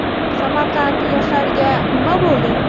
Samarqand yoshlariga nima bo‘ldi?